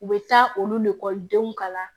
U bɛ taa olukɔlidenw kala